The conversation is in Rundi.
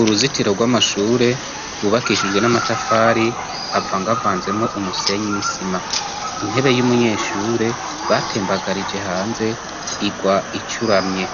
Uruzitiro rw'amashure rwubakishijwe n'amatafari ava ngoavanzemwo umusenyi misima intebe y'umunyeshure batembagarije hanze irwa icuramye